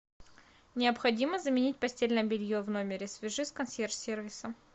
необходимо заменить постельное белье в номере свяжись с консьерж сервисом